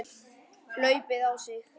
hlaupið á sig?